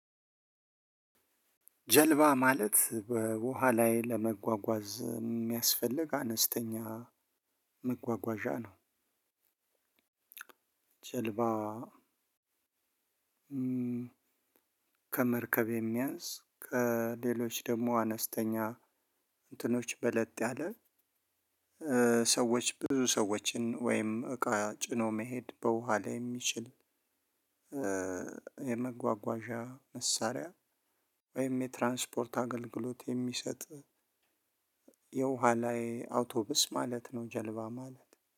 ጀልባ ማለት በውሃ ላይ ለመጓጓዝ የሚያስፈልግ አነስተኛ መጓጓዣ ነው። ጀልባ ከመርከብ የሚያንስ ከሌሎች ደግሞ አነስተኛ እንትኖች በለጥ ያለ ሰዎች ብዙ ሰዎችን ወይም እቃ ጭኖ መሄድ በውሃ ላይ የሚችል። የመጓጓዣ መሳሪያ ወይም የትራንስፖርት አገልግሎት የሚሰጥ የውሃ ላይ አውቶብስ ማለት ነው። ጀልባ ማለት